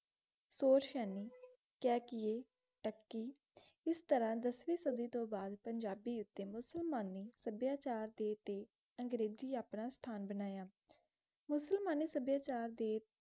ਸੋਰੇਸ਼ੇਨੀ ਕੈਕੇਯ ਟਾਕੀ ਏਸ ਤਰਹ ਦਸਵੀ ਸਾਡੀ ਤੋਂ ਬਾਅਦ ਪੰਜਾਬੀ ਊਟੀ ਮੁਸਲਮਾਨੀ ਸਭ੍ਯਾਚਾਰ ਦੇ ਤੇ ਅੰਗ੍ਰੇਜੀ ਆਪਣਾ ਅਸਥਾਨ ਬਨਾਯਾ ਮੁਸਲਮਾਨੀ ਸਭ੍ਯਾਚਾਰ ਦੇ